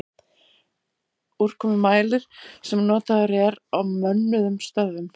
Úrkomumælir sem notaður er á mönnuðum stöðvum.